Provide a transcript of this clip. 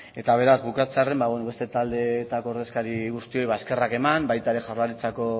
eta beraz bukatzearren ba beno beste taldeetako ordezkari guztiei eskerrak eman baita ere jaurlaritzako